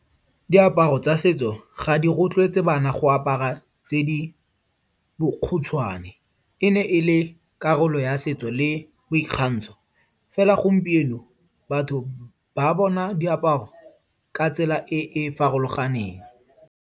Diaparo tsa setso ga di rotloetse bana go apara tse di bokhutshwane. E ne e le karolo ya setso le boikgantsho. Fela gompieno, batho ba bona diaparo ka tsela e e farologaneng.